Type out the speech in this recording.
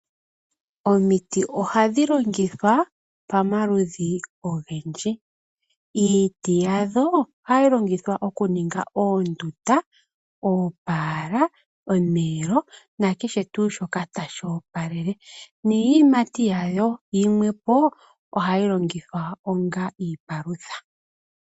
Omiti ohadhi longithwa pamaludhi ogendji. Iiti yadho ohayi longithwa oku ninga oondunda, oopala, omiyelo nakehe tuu shoka tashi opalele. Niiyimati yawo yimwe po ohayi longithwa onga iipalutha.